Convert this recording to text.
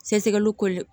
Sɛgɛsɛgɛliw ko